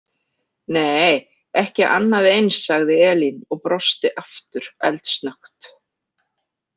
Nei, ekki annað eins, sagði Elín og brosti aftur eldsnöggt.